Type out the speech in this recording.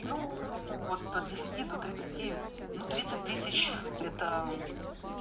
ну вот от десяти до тридцати ну тридцать тысяч это